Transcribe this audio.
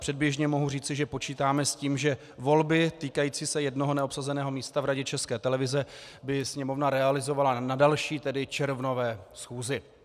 Předběžně mohu říct, že počítáme s tím, že volby týkající se jednoho neobsazeného místa v Radě České televize by Sněmovna realizovala na další, tedy červnové schůzi.